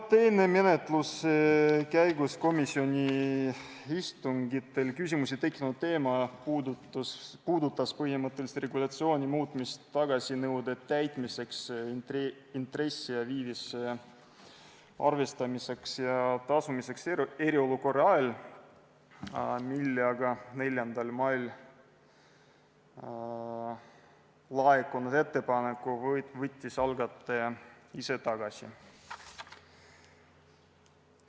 Teine menetluse käigus komisjoni istungitel küsimusi tekitanud teema puudutas põhimõtteliselt regulatsiooni muutmist tagasinõude täitmiseks intressi ja viivise arvestamiseks ning tasumiseks eriolukorra ajal, aga 4. mail laekunud ettepaneku võttis algataja ise tagasi.